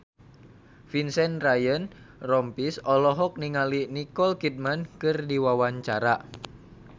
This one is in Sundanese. Vincent Ryan Rompies olohok ningali Nicole Kidman keur diwawancara